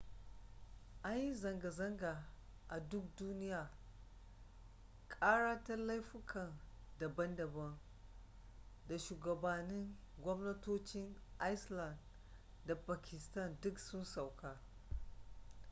an yi zanga-zanga a duk duniya kara ta laifuka daban-daban da shugabannin gwamnatocin iceland da pakistan duk sun sauka